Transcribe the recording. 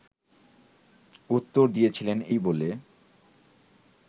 উত্তর দিয়েছিলেন এই বলে